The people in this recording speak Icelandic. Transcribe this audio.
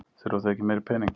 Þurfa þau ekki meiri pening?